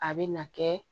A bɛ na kɛ